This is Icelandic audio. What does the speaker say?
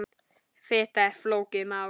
Fita er flókið mál.